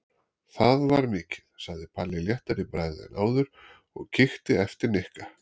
Það var mikið sagði Palli léttari í bragði en áður og kíkti eftir Nikka.